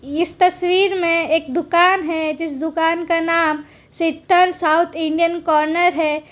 इस तस्वीर में एक दुकान है जिस दुकान का नाम शीतल साउथ इंडियन कॉर्नर है।